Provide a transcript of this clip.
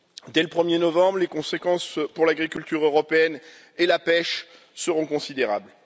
Dès le 1er novembre, les conséquences pour l'agriculture européenne et la pêche seront considérables.